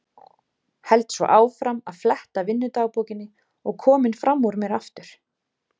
Held svo áfram að fletta vinnudagbókinni og kominn fram úr mér aftur.